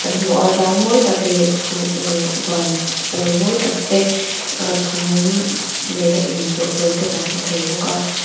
kan hmu a tlang mawi tak leh chhu uh van pawl mawi tak te chhum nen a inchawhpawlh te kan hmu thei bawk a.